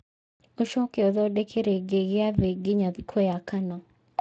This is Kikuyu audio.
ũcoke ũthondeke rĩngĩ gĩathĩ nginya thikũ ya kana